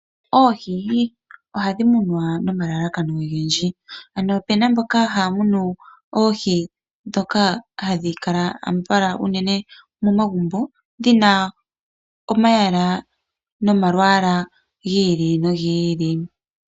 Oohi ohadhi munwa nomalalakano ogendji ano opena mboka haya munu oohi ndhoka hadhi kala unene momagumbo dhina omayala nomalwaala gi ili nogi ili